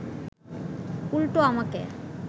উল্টো আমাকে